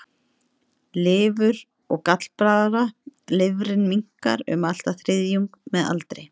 Lifur og gallblaðra Lifrin minnkar um allt að þriðjung með aldri.